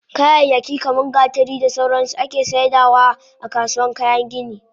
Kayayyaki kaman gatari da sauransu ake saidawa akasuwan kayan gini